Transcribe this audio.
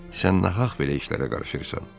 Sən nahaq belə işlərə qarışırsan.